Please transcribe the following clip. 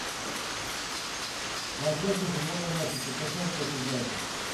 трансляция футбольного матча тоттенхэм против брайтон